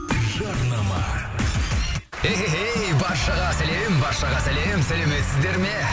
жарнама эхэхэй баршаға сәлем баршаға сәлем сәлеметсіздер ме